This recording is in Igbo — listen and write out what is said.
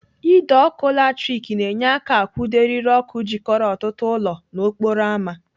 Ide ọkụ latrik na-enye aka akwụdo eriri ọkụ jikọrọ ọtụtụ ụlọ n'okporo ámá.